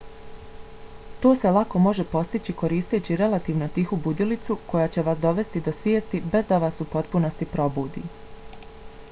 to se lako može postići koristeći relativno tihu budilicu koja će vas dovesti do svijesti bez da vas u potpunosti probudi